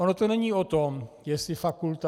Ono to není o tom, jestli fakulta...